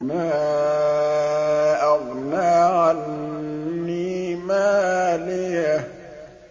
مَا أَغْنَىٰ عَنِّي مَالِيَهْ ۜ